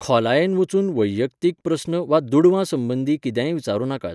खोलायेन वचून वैयक्तीक प्रस्न वा दुडवां संबंदीत कितेंय विचारूं नाकात.